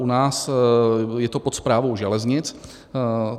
U nás je to pod Správou železnic.